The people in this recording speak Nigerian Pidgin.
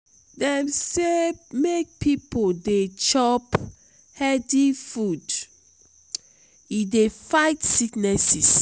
dem sey make pipo dey chop healthy food e dey fight sickness.